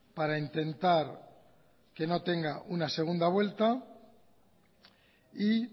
para intentar que no tenga una segunda vuelta y